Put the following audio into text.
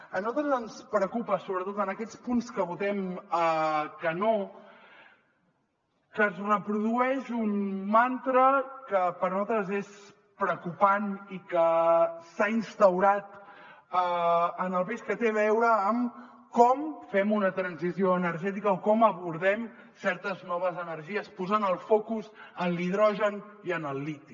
a nosaltres ens preocupa sobretot en aquests punts que votem que no que es reprodueix un mantra que per a nosaltres és preocupant i que s’ha instaurat en el país que té a veure amb com fem una transició energètica o com abordem certes noves energies posant el focus en l’hidrogen i en el liti